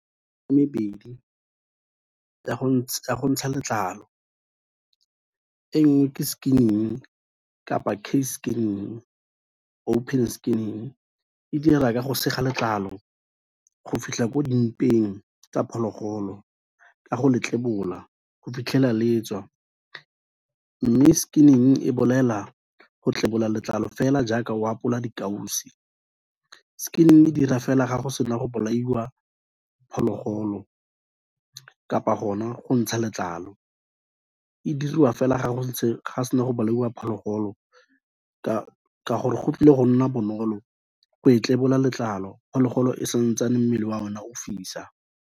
E mebedi ka go ntsha letlalo, e nngwe ke skinning kapa skinning, open skinning, e dira ka go sega letlalo go fitlha ko dimpeng tsa phologolo ka go le tlebola go fitlhela letswa, mme skinning e bolela go tlebola letlalo fela jaaka o apola dikausu, skinning e dira fela ga go se na go bolaiwa phologolo kapa gona go ntsha letlalo, e diriwa fela ga go se na go bolaiwa phologolo ka gore go tlile go nna bonolo go e tlebola letlalo phologolo e santsane mmele oa o na o fisa.